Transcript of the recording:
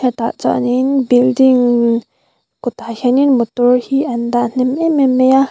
hetah chuanin building kawtah hianin motor hi an dah hnem em em mai a.